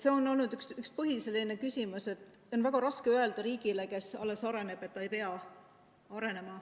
See on olnud üks põhiline küsimus, et on väga raske öelda riigile, kes alles areneb, et ta ei pea arenema.